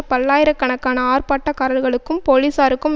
பல்லாயிரக் கணக்கான ஆர்ப்பாட்டக்காரர்களுக்கும் போலீசாருக்கும்